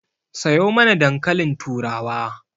Sayo mana dankalin turawa